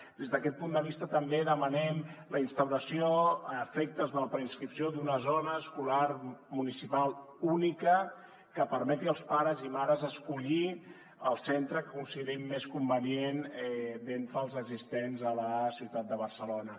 des d’aquest punt de vista també demanem la instauració a efectes de la preins·cripció d’una zona escolar municipal única que permeti als pares i mares escollir el centre que considerin més convenient d’entre els existents a la ciutat de barcelona